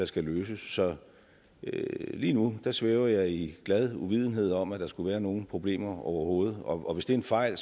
skal løses så lige nu svæver jeg i glad uvidenhed om at der skulle være nogen problemer overhovedet og hvis det er en fejl